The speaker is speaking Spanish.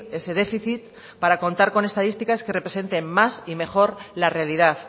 ese déficit para contar con estadísticas que representen más y mejor la realidad